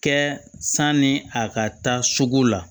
Kɛ sanni a ka taa sugu la